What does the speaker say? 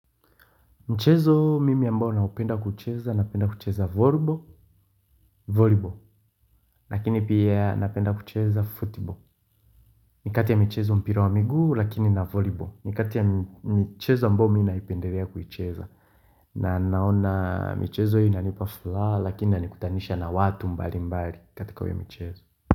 Mchezo mimi ambao naupenda kucheza, napenda kucheza volibo, volibo. Lakini pia napenda kucheza futibo. Nikati ya mchezo mpira wa miguu, lakini na volibo. Nikati ya mchezo ambao mina ipenderea kucheza. Na naona mchezo inalipa fulala, lakini ina nikutanisha na watu mbali mbali katika huo mchezo.